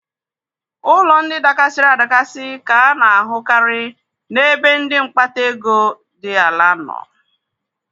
Ụlọ ndị dakasiri adakasi ka a na-ahụ karị n'ebe ndị mkpata ego dị ala nọ.